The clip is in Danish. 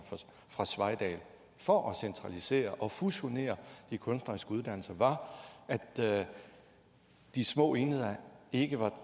fra sveidahl for at centralisere og fusionere de kunstneriske uddannelser var at de små enheder ikke var